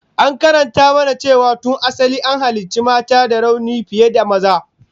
An karanta mana cewa tun asali an halicci mata da rauni fiye da maza